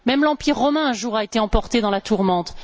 Même l'empire romain a, un jour, été emporté dans la tourmente.